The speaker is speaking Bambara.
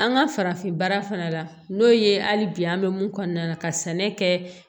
An ka farafin baara fana la n'o ye hali bi an bɛ mun kɔnɔna na ka sɛnɛ kɛ